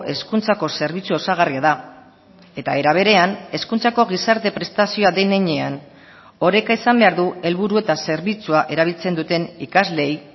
hezkuntzako zerbitzu osagarria da eta era berean hezkuntzako gizarte prestazioa den heinean oreka izan behar du helburu eta zerbitzua erabiltzen duten ikasleei